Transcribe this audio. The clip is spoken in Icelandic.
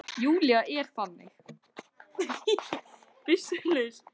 Júlía er þannig.